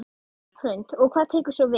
Hrund: Og hvað tekur svo við?